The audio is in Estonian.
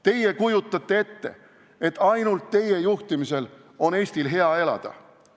Te kujutate ette, et ainult teie juhtimisel on Eestil hea elada.